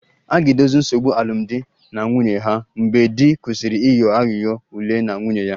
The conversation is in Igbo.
A ga-edozi nsogbu alụmdi na nwunye ha mgbe di kwụsịrị ịghọ aghụghọ ule na nwunye ya